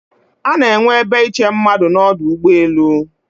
Ana enwe ebe iche mmadụ n'ọdụ ụgbọelu